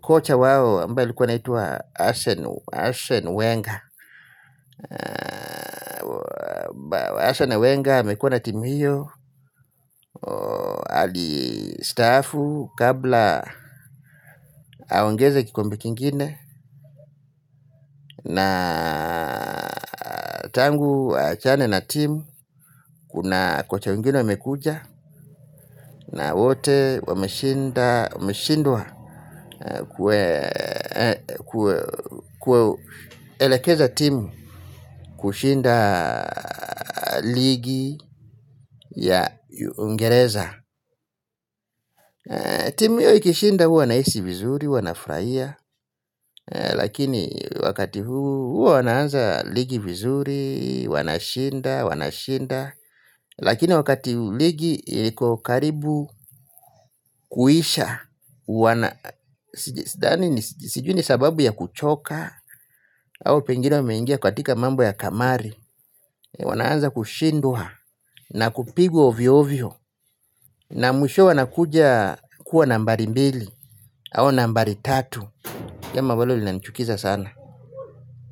kocha wao ambaye alikuwa anaitwa Arsene Wenga Arsene Wenga amekuwa na timu hiyo. Alistaafu kabla aongeze kikombe kingine. Na tangu aachane na timu. Kuna kocha wengine wamekuja. Na wote wameshindwa kuelekeza timu kushinda ligi ya Uingereza. Timu hio ishinda huwa naisi vizuri, huwa nafurahia. Lakini wakati huu huwa wanaanza ligi vizuri, wanashinda, wanashinda. Lakini wakati ligi liko karibu kuisha huwa na sijui ni sababu ya kuchoka au pengine wameingia katika mambo ya kamari. Wanaanza kushindua na kupigwa ovyo ovyo. Na mwishowe wanakuja kuwa nambari mbili au nambari tatu jambo ambalo linanichukiza sana.